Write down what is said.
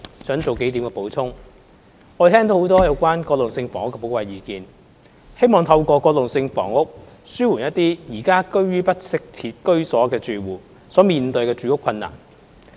我們聽到很多有關過渡性房屋的寶貴意見，希望透過過渡性房屋紓緩一些現時居於不適切居所的住戶所面對的住屋困難。